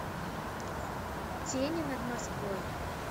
тени над москвой